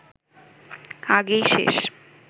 আগেই শেষ